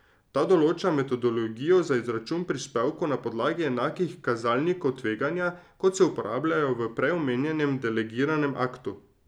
Ta določa metodologijo za izračun prispevkov na podlagi enakih kazalnikov tveganja, kot se uporabljajo v prej omenjenem delegiranem aktu.